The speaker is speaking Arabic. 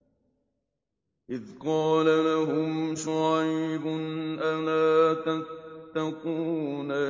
إِذْ قَالَ لَهُمْ شُعَيْبٌ أَلَا تَتَّقُونَ